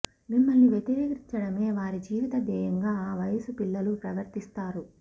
మిమ్మల్ని వ్యతిరేకించటమే వారి జీవిత ధ్యేయంగా ఆ వయసు పిల్లలు ప్రవర్తిస్తారు